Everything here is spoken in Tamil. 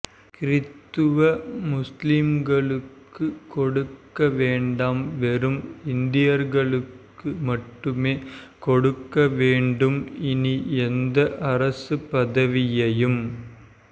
க்ரித்த்துவ முஸ்லிம்களுக்கு கொடுக்கவேண்டாம் வெறும் இந்தியர்களுக்கு மட்டுமே கொடுக்கவேண்டும் இனி எந்த அரசு பதவியையும்